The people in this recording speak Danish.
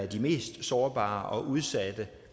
de mest sårbare og udsatte